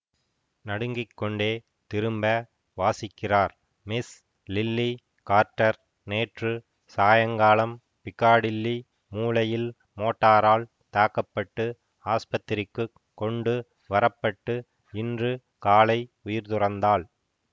நடுங்கிக்கொண்டே திரும்ப வாசிக்கிறார் Miss Lily Carter நேற்று சாயங்காலம் பிக்காடில்லி மூலையில் மோட்டாரால் தாக்க பட்டு ஆஸ்பத்திரிக்குக் கொண்டு வரப்பட்டு இன்று காலை உயிர் துறந்தாள்